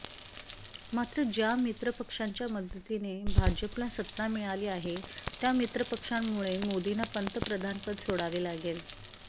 मात्र ज्या मित्र पक्षांच्या मदतीने भाजपला सत्ता मिळाली आहे त्या मित्रपक्षांमुळे मोदींना पंतप्रधानपद सोडावे लागेल